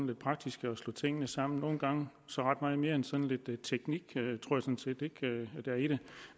lidt praktisk og slå tingene sammen nogle gange tror er mere end sådan lidt teknik der er i det